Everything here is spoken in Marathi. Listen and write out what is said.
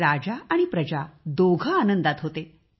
राजा आणि प्रजा दोघे आनंदात होते